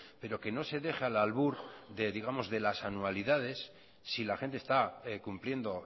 pero que no se deje al albur de las anualidades si la gente está cumpliendo